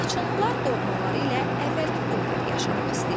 Laçınlılar doğmaları ilə əvvəlki günləri yaşamaq istəyirlər.